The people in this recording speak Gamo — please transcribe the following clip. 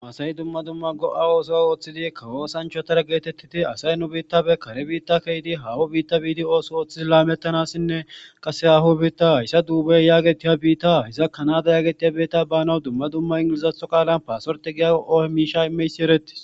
Asayi dumma dumma go'a ooso ooththidi kawo oosanchotara geetettidi asay nu biitta be kare biitta keydi haaho biitta biidi ooso ooththidi laamettanassinne qase haaho biitta hayssa duubaye yaagetiya biitta hiza kanada yaagetiya biitta banawu dumma dumma ingilezatho qaalan paasorete gigoho miishsha imiyayssi erettis